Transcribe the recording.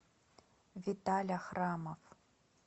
виталя храмов